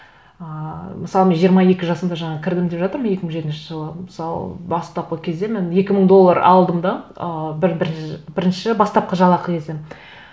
ыыы мысалы мен жиырма екі жасымда жаңа кірдім деп жатырмын екі мың жетінші жылы мысалы бастапқы кезде мен екі мың доллар алдым да ы бірінші бастапқы жалақы кезім